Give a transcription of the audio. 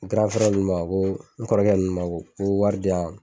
ninnu ma ko n kɔrɔkɛ ninnu ma ko ko wari di yan